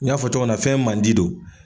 N y'a fɔ cogo mina fɛn mandi don.